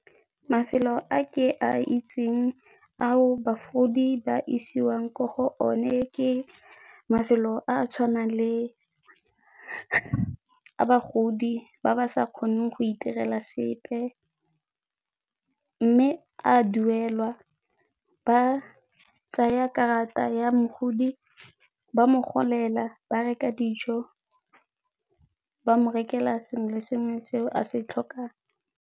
Mafelo a ke a itseng ao bagodi ba isiwang ko go o ne ke mafelo a tshwanang le a bagodi ba ba sa kgoneng go itirela sepe mme a duelwa. Ba tsaya karata ya mogodi ba mo golela ba reka dijo, ba mo rekela sengwe le sengwe se o a se tlhokang.